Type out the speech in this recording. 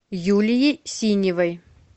юлией синевой